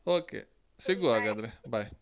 Okay bye.